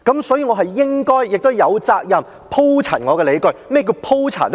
所以，我是應該亦有責任鋪陳我的理據，而何謂鋪陳呢？